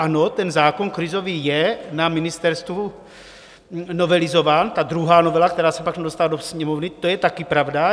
Ano, ten zákon krizový je na ministerstvu novelizován, ta druhá novela, která se pak nedostala do Sněmovny, to je také pravda.